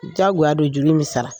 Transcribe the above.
Jagoya don juru bi sara.